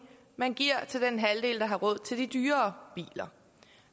man giver til den halvdel der har råd til de dyrere biler